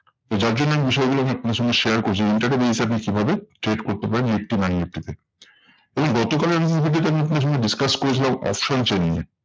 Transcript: তো যার জন্য আমি বিষয়গুলো নিয়ে আপনার সঙ্গে share করছি, intraday basis এ আপনি কিভাবে trade করতে পারেন নিফটি ব্যাঙ্ক নিফটি তে? এবং গতকালের আমি আপনার সঙ্গে discuss করেছিলাম option chain নিয়ে।